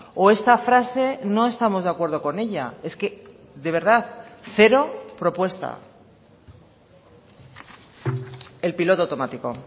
o esta frase no estamos de acuerdo con ella es que de verdad cero propuesta el piloto automático